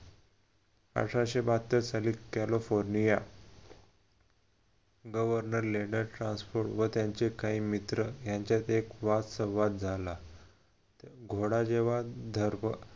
अठराशे बहात्तर साली कॅलिफोर्निया व त्यांचे काही मित्र ह्यांच्यात एक वाद संवाद झाला घोडा जेव्हा घर